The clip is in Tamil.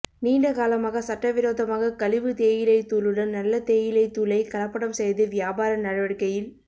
நீண்ட காலமாக சட்டவிரோதமாக கழிவு தேயிலை தூளுடன் நல்ல தேயிலை தூளை கலப்படம் செய்து வியாபார நடவடிக்கையில்